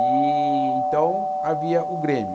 E então havia o Grêmio.